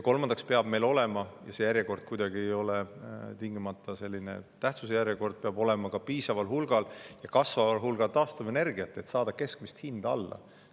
Kolmandaks peab meil olema – ja see järjekord ei ole tingimata tähtsuse järjekord – ka piisaval hulgal ja kasvaval hulgal taastuvenergiat, et saada keskmist hinda alla.